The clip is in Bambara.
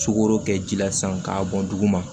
Sukoro kɛ ji la sisan k'a bɔn duguma